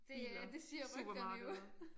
Det øh det siger rygterne jo